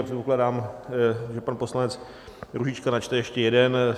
A předpokládám, že pan poslanec Růžička načte ještě jeden.